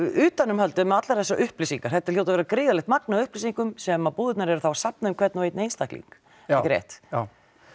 utanumhaldið um allar þessar upplýsingar þetta hljóta að vera gríðarlegt magn af upplýsingum sem að búðirnar eru þá að safna um hvern og einn einstakling ekki rétt já